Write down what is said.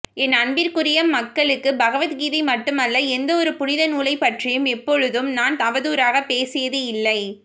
என் அன்பிற்குரிய மக்களுக்குபகவத்கீதை மட்டுமல்ல எந்த ஒரு புனிதநூலை பற்றியும் எப்பொழுதும் நான் அவதூறாக பேசியதும் இல்லை